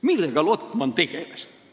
" Millega Lotman tegeles?